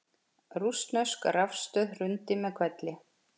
Rússnesk rafstöð hrundi með hvelli